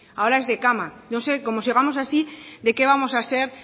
ahora es de cama no sé como sigamos así de qué vamos a ser